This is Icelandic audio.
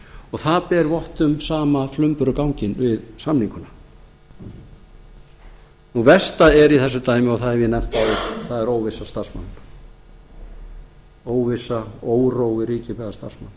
og það ber vott um sama flumbruganginn við sameininguna versta er í þessu dæmi og það hef ég nefnt áður það er óvissa starfsmanna óvissa órói ríkir meðal starfsmanna